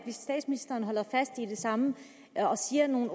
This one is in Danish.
statsministeren holder fast i det samme og siger noget